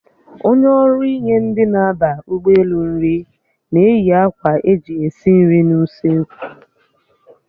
Onye ọrụ inye ndị na-aba ụgbọelu nri na-eyi akwa eji esi nri n'usoekwu